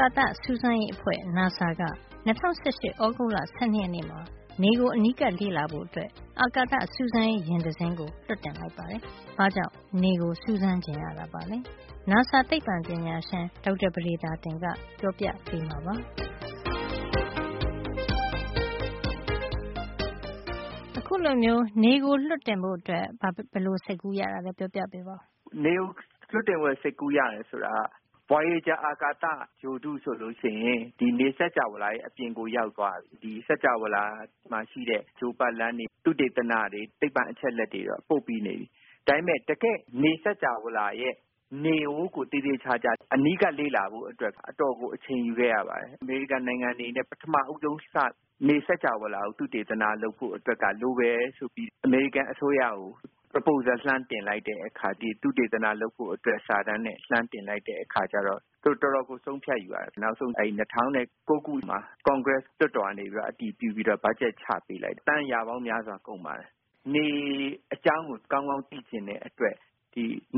ကာသစူးစမ်းရေးအဖွဲ့က ၂၀၁၈ သြဂုတ်လ ၁၂ ရက်နေ့မှာ နေကို အနီးကပ်လေ့လာဖို့ အာကာသစူးစမ်းရေးယာဉ် တစင်းလွှတ်တင်လိုက်ပါတယ်။ ဘာ့ကြောင့် နေကို စူးစမ်းချင်တာပါလဲ။ နာဆာ သိပ္ပံပညာရှင် ဒေါက်တာပဒေသာတင်က ပြောပြပေးမှာပါ။ အာကာစူးစမ်းရေးယာဉ် နေကို လွှတ်တင်ဖို့ ဘာကြောင့် စီစဉ်ရတာ ပါလဲ။ “နေကို ခုလို လွှတ်တင်ဖို့ စိတ်ကူး ရတယ် ဆိုတာက- အရင် voyager အာကာသ ဂြိုဟ်တုဆို ရင် နေစကြာဝဌာရဲ့ အပြင်ကို ရောက်သွားပြီ။ နေစကြာဝဌာမှာ ရှိတဲ့ ဂြိုဟ်ပတ်လမ်းတွေ၊ သုတေသနတွေ၊ သိပ္ပံအချက်အလက်တွေတော့ ပို့ပြီးသွားပြီ။ ဒါပေမယ့် တကယ့် နေစကြာဝဌာရဲ့ နေကိုတော့ သေသေချာချာ အနီးကပ်လေ့လာဖို့ အတွက်ကို တော်တော်ကို အချိန်ယူခဲ့ရပါတယ်။ အမေရိကန်နိုင်ငံအနေနဲ့ ပထမဦးဆုံး စပြီး နေစကြာဝဌာကို သုတေသနလုပ် ဖို့ အတွက်က လိုတယ်ဆိုပြီး အမေရိကန် အစိုးရကို proposal လှမ်းတင်လိုက်တဲ့ အခါ ဒီသုတေသန လုပ်ဖို့ အတွက် စာတမ်းနဲ့ လှမ်းတင်လိုက်တဲ့ အခါကျတော့ သူတို့ တော်တော်ကို ဆုံးဖြတ်ယူရတယ်။ နောက်ဆုံး ၂၀၀၉ ခုမှာ ကွန်ဂရက် လွှတ်တော်မှာ အတည်ပြုပြီးတော့ ဘတ်ဂျက်ချ ပေးတယ်။ သန်းရာပေါင်းများစွာ ကုန်ပါတယ်။ နေ အကြောင်းကို ကောင်းကောင်းသိချင်တဲ့ အတွက်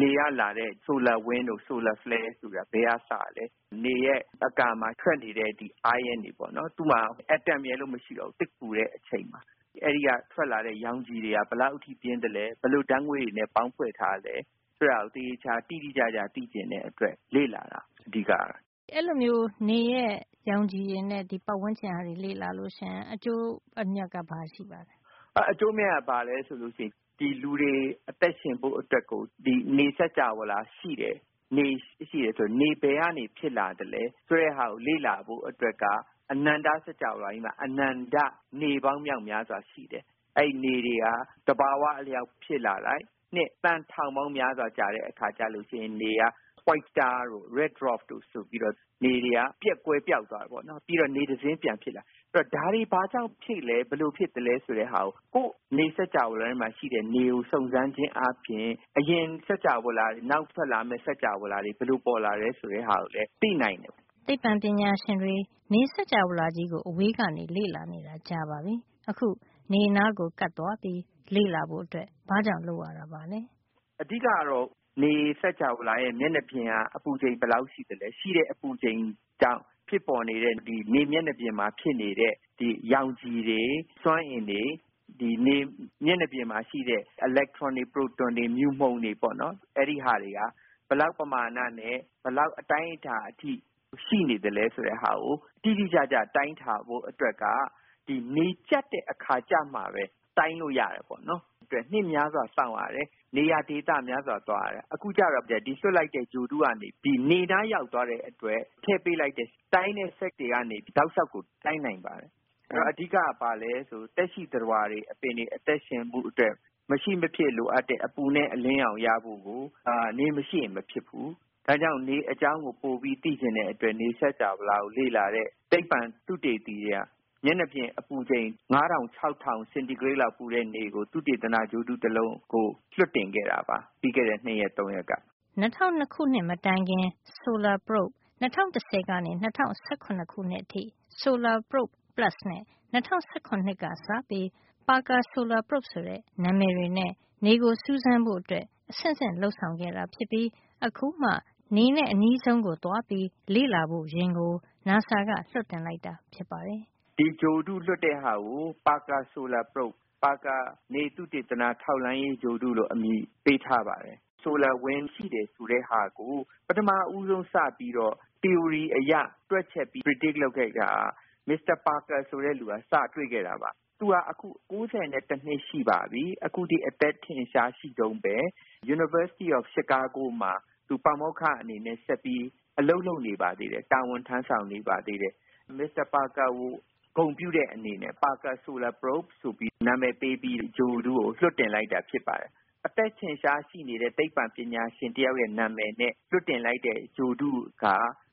နေကလာတဲ့ ဆိုလာ wind တို့ ဆိုလာ flare တို့ဆိုတာ ဘယ်ကလာလဲ၊ နေရဲ့ အကာမှာ ထွက်နေတဲ့ ion တွေပေါ့နော်။ သူ့မှာ အက်တမ်ရယ်လို့ မရှိဘူး။ သိပ်ကို ပူတဲ့ အချိန် အဲဒီက ရောင်ခြည်တွေက ဘယ်လောက် ရှိသလဲ၊ ဘယ်လို ဓါတ်ငွေ့တွေနဲ့ ပေါင်းထားသလဲ၊ ဆိုတာကို သေသေချာချာ တိတိကျကျ သိချင်တဲ့အတွက် လေ့လာတာ ဖြစ်ပါတယ်။” အဲဒီလို နေရဲ့ ရောင်ခြည်တွေနဲ့ ပတ်ဝန်းကျင်ကို လေ့လာရင် ဘာအကျိုးရှိပါသလဲ “အကျိုးအမြတ်က ဘာရှိမလဲ ဆိုရင် လူတွေ အသက်ရှင်ဖို့ အတွက် နေစကြာဝဌာရှိတယ်၊ နေရှိတယ် ဆိုတော့ နေဘယ်ကနေ ဖြစ်လာသလဲ ဆိုတဲ့ဟာကို လေ့လာဖို့ အတွက်က အနန္တ စကြာဝဌာကြီးမှာ အနန္တ နေပေါင်း မြောက်များစွာ ရှိတယ်။ အဲဒီနေတွေဟာ သဘဝ အလျှောက် ဖြစ်လာလိုက် နှစ် သန်းထောင်ပေါင်းများစွာ ကြာတဲ့ အခါကျလို့ရှိရင် နေက white star တို့ red dwarf တို့ ဆိုပြီးတော့ နေတွေက ကွယ်ပျောက်သွားတယ်။ ပြီးတော့ နေတစင်း ပြန်ဖြစ်လာ တယ်။ အဲဒီတော့ ဒါတွေ ဘာကြောင့်ဖြစ်လာသလဲ။ ဘယ်လိုဖြစ်သလဲ၊ ဆိုတဲ့ဟာကို ကိုယ့် နေစကြာဝဌာ ထဲမှာ ရှိတဲ့နေကို စုံစမ်းခြင်းဖြင့် အရင်စကြာဝဌာတွေ၊ နောက် ဖြစ်လာမယ့် စကြာဝဌာတွေ ဘယ်လို ပေါ်လာသလဲ ဆိုတာကိုလည်း သိနိုင်တယ်။ အဓိကကတော့ ဒါပါပဲ။” သိပ္ပံပညာရှင်တွေ နေစကြာဝဌာကြီးကို အဝေးက လေ့လာနေတာ ကြာပါပြီ။ အခု နေနားကို ကပ်သွားပြီး လေ့လာဖို့ ဘာကြောင့် လုပ်ရတာပါလဲ။ “နေစကြာဝဌာရဲ့ မျက်နှာပြင်က အပူချိန် ဘယ်လောက် ရှိသလဲ၊ ရှိတဲ့အပူချိန်ကြောင့် ဖြစ်ပေါ်နေတဲ့ နေမျက်နှာပြင်မှာ ဖြစ်နေတဲ့ ရောင်ခြည်တွေ၊ စွမ်းအင်တွေ၊ နေမျက်နှာပြင်မှာ ရှိတဲ့ အီလက်ထရွန်တွေ၊ ပရိုတွန်တွေ၊ မြူမှုန်တွေဟာ ဘယ်လောက်ပမာဏနဲ့ ဘယ်လောက် အတိုင်းတာအထိ ရှိနေသလဲ ဆိုတာကို တိတိကျကျ တိုင်းတာဖို့အတွက်က ဒီနေကြပ်တဲ့ အခါ ကျမှပဲ တိုင်းလို့ရတယ်။ အဲဒါအတွက် နှစ်များစွာစောင့်ရတယ်၊ နေရာဒေသ များစွာကို သွားရတယ်၊ အခုကျတော့ ဒီလွှတ်လိုက်တဲ့ ဂြိုဟ်တုက နေပြီး နေနားရောက်သွားတဲ့ အခါ မှာ ထည့်ပေးလိုက်တဲ့ တိုင်းတဲ့ စက်ကရိယာတွေကနေ တောက်လျှောက် တိုင်းနိုင်ပါတယ်။ အဲဒီတော့ အဓိကက သက်ရှိသတ္တဝါတွေ၊ အပင်တွေ အသက်ရှင်ဖို့ အတွက် မရှိမဖြစ်လိုအပ်တဲ့ အပူနဲ့ အလင်းရောင် ရဖို့ကို နေမရှိရင် မဖြစ်ဖူး။ ဒါကြောင့် နေအကြောင်းကို ပိုပြီး သိချင်တဲ့အတွက်ကြောင့် နေစကြာဝဌာကို လေ့လာတဲ့ သိပ္ပံသုတေသီတွေက မျက်နှာပြင် အပူချိန် ၅၀၀၀ - ၆၀၀၀ စင်တီဂရိတ် လောက် ပူတဲ့နေကို သုတေသန ဂြိုဟ်တု တလုံးကို လွှတ်တင်ခဲ့တာပါ။ ပြီးခဲ့တဲ့ ၂ ရက် ၃ ရက်က။” ၂၀၀၂ ခုနှစ် မတိုင်ခင် Solar Probe ၂၀၁၀ ကနေ ၂၀၁၇ အထိ Solar Probe Plus နဲ့ ၂၀၁၇ က စပြီး Parker Solar Probe ဆိုတဲ့ နံမယ်တွေနဲ့ နေကိုစူးစမ်းဖို့အတွက် အဆင့်ဆင့် လုပ်ဆောင် ခဲ့တာ ဖြစ်ပြီး အခုမှ နေနဲ့ အနီးဆုံး ကိုသွားပြီး လေ့လာဖို့ ယဉ်ကို နာဆာက လွှတ်တင်လိုက်တာ ဖြစ်ပါတယ်။ “ဒီဂြိုဟ်တု လွှတ်တဲ့ဟာကို Parker Solar Probe - ပါကာ နေသုတေသန ထောက်လှန်းရေးဂြိုဟ်တု လို့ အမည်ပေးထားပါတယ်။ ဆိုလာ wind ရှိတယ် ဆိုတဲ့ဟာကို ပထမဦးဆုံး စပြီးတော့ သီအိုရီ အရ တွက်ချက်ပြီး predict လုပ် ခန့်မှန်းခဲ့တာက Eugene Parker ဖြစ်ပါတယ်။ သူဟာ အခု အသက် ၉၁ နှစ် ရှိပါပြီ။ အခုထိ အသက်ထက်ရှား ရှိတုန်းပဲ။ Chicago တက္ကသိုလ် မှာ ပါမောက္ခ အနေနဲ့ ဆက်ပြီး အလုပ်လုပ်နေပါ သေးတယ်။ မစ္စတာ ပါကာကို ဂုဏ်ပြုတဲ့ အနေနဲ့ Parker Solar Probe လို့ နံမယ်ပေးပြီး ဂြိုဟ်တုကို လွှတ်တင်လိုက်တာ ဖြစ်ပါတယ်။ အသက်ထင်ရှား ရှိနေတဲ့ သိပ္ပံပညာရှင်တယောက်ရဲ့ နံမယ်နဲ့ လွှတ်တင်လိုက်တဲ့ ဂြိုဟ်တုက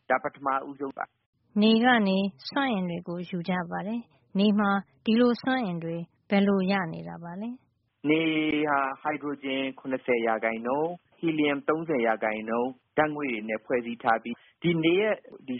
ဒါ ပထမ ဦးဆုံးပါ။” နေကနေ စွမ်းအင်တွေကို ယူကြပါတယ်။ နေမှာ ဒီလို စွမ်းအင်တွေ ဘယ်လိုရနေတာပါလဲ။ “နေဟာ ဟိုက်ဒရိုဂျင် ၇၀% ဟီလီယမ် ၃၀ % ဓါတ်ငွေ့တွေနဲ့ ဖွဲ့စည်းထားပြီး၊ ဒီနေရဲ့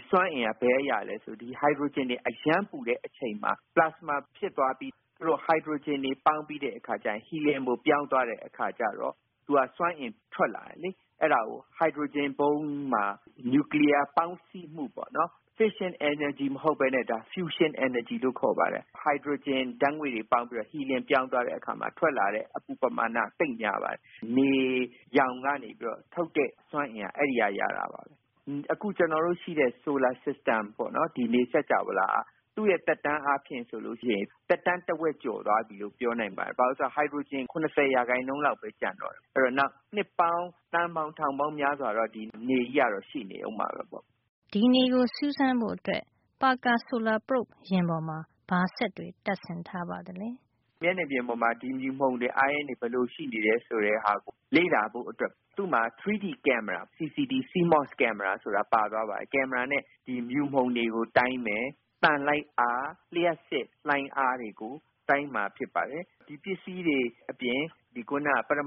စွမ်းအင်က ဘယ်ကရသလဲ ဆိုရင် ဒီ ဟိုက်ဒရိုဂျင် အရမ်းပူနေတဲ့ အချိန်မှာ ပလာစမာ ဖြစ်သွားပြီး အဲဒီဟိုက်ဒရိုဂျင်တွေ ပေါင်းပြီး ဟီလီယမ်ကို ပြောင်းသွားတဲ့အခါ ကျတော့ သူက စွမ်းအင်တွေ ထွက်လာတယ်။ အဲဒါကို ဟိုက်ဒရိုဂျင်ဗုံးမှာ နျူကလီယား ပေါင်းစည်းမှု ပေါ့နော်။ fission energy မဟုတ်ပဲ fusion energy လို့ ခေါ်ပါတယ်။ ဟိုက်ဒရိုဂျင် ဓါတ်ငွေ့တွေ ပေါင်းပြီးတော့ ဟီလီယံ ပြောင်းသွားတဲ့ အခါ ထွက်လာတဲ့ ဓါတ်ငွေ့ပမာဏက သိပ်များပါတယ်။ နေရောင်ကနေ ပြီးတော့ ထုတ်တဲ့ စွမ်းအင်က အဲဒီကနေ ရတာပါပဲ။” “အခု ရှိတဲ့ ကျွန်တော်တု့ိရဲ့ solar system နေစကြာဝဌာဟာ သူ့ရဲ့ သက်တမ်းအားဖြင့် ဆိုရင် သက်တမ်းက တဝက်ကျော် သွားပြီလို့ ပြောနိုင်ပါတယ်။ ဘာဖြစ်လို့လည်း ဆိုတော့ သူက ဟိုက်ဒရိုဂျင် ၇၀ % လောက်ပဲ ကျန်တော့တယ်။ အဲဒီတော့ နောက် နှစ်ပေါင်း သန်းပေါင်း ထောင်ပေါင်း များစွာ အထိတော့ ဒီနေကြီးက ရှိနေအုံးမှာပဲ။” ဒီနေကိုစူးစမ်းဖို့ Parker solar probe ယာဉ်ပေါ်မှာ ဘာစက်တွေ တပ်ဆင်ထားပါသလဲ။ “မျက်နှာပြင်ပေါ်မှာ ဒီ မြူမှုန်တွေ၊ အိုင်းယွန်းတွေ ဘယ်လို ရှိနေတယ် ဆိုတဲ့ဟာကို လေ့လာဖို့အတွက် သူ့မျာ 3D ကင်မရာ CCD / CMOS ကင်မရာ CMOS ဆိုတာ ပါသွားပါတယ်။ ဒီကင်မရာနဲ့ မြူမှုန်တွေကို တိုင်းမယ်၊ သံလိုက်အား၊ လျှပ်စစ်လှိုင်းအား တွေကို တိုင်းမှာ ဖြစ်ပါတယ်။ အဲဒီစက်ပစ္စည်းတွေ အပြင် ပရ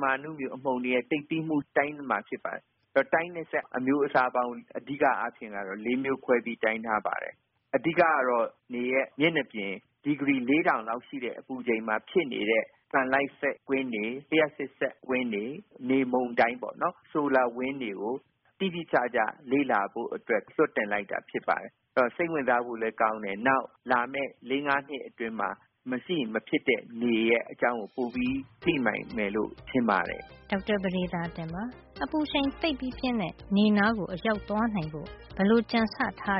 မာ အဏုမြူ အမှုန်တွေရဲ့ သိပ်သည်းမှုကိုပါ တိုင်းမှာ ဖြစ်ပါတယ်။ ဒီလို တိုင်းတဲ့ စက်အမျိုးအစားပေါင်း အဓိက အားဖြင့်က ၄ မျိုးခွဲပြီး တိုင်းထားပါတယ်။ အဓိက ကတော့ နေရဲ့ မျက်နှာပြင် အပူချိန် ဒီဂရီ ၄၀၀၀ လောက်ရှိတဲ့ အပူချိန်မှာ ဖြစ်နေတဲ့ သံလိုက်စက်ကွင်းတွေ၊ လျှပ်စစ် စက်ကွင်းတွေ၊ နေမုန်တိုင်းပေါ့နော် solar wind တွေ ကို တိတိကျကျ လေ့လာဖို့ အတွက် လွှတ်တင်လိုက်တာ ဖြစ်ပါတယ်။ ဒါဟာ စိတ်ဝင်စားဖို့လည်း ကောင်းတယ်၊ နောက်လာမယ့် ၄ -၅ နှစ်အတွင်း မရှိမဖြစ်နေရဲ့ အကြောင်းကို ပိုပြီး သိလာနိုင်မယ်လို့ ထင်ပါတယ်။” ဒေါက်တာ ပဒေသာတင်ပါ။ အပူရှိန် သိပ်ပြီးပြင်းတဲ့ နေနားကို အရောက်သွား နိုင်ဖို့ ဘယ်လို ကြံဆထား